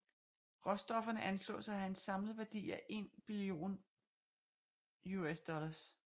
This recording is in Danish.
Råstofferne anslås at have en samlet værdi af 1 billion USD